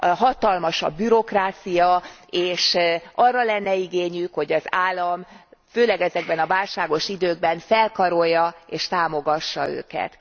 Hatalmas a bürokrácia, és arra lenne igényük, hogy az állam főleg ezekben a válságos időkben felkarolja és támogassa őket.